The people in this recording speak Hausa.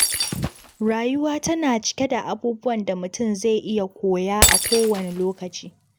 Rayuwa tana cike da abubuwan da mutum zai iya koya a kowane lokaci.